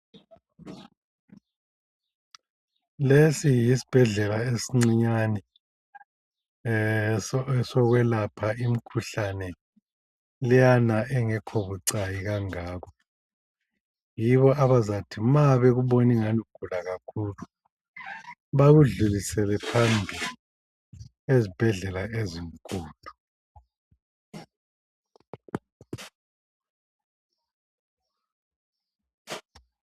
Lesi yisibhedlela esincinyane esokwelapha imikhuhlane leyana engekho bucayi kangako. Yibo abazathi ma bekuboningani ugula kakhulu, bakudlulisele phambili ezibhedlela ezinkulu.